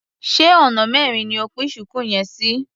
Ṣé ona mẹrin ni o pín ṣùkú yẹn sí?